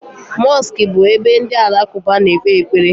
Mosiki bu ebe ndi alakuba na-ekpe ekpere